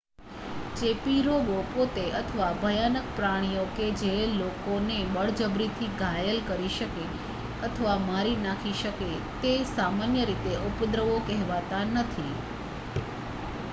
ચેપી રોગો પોતે અથવા ભયાનક પ્રાણીઓ કે જે લોકોને બળજબરીથી ઘાયલ કરી શકે અથવા મારી નાખી શકે તે સામાન્ય રીતે ઉપદ્રવો કહેવાતાં નથી